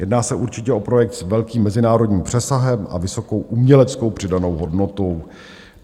Jedná se určitě o projekt s velkým mezinárodním přesahem a vysokou uměleckou přidanou hodnotou.